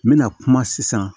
N bɛna kuma sisan